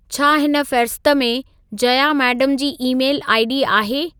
छा हिन फ़हिरिस्त में Jaya madam ji email I D आहे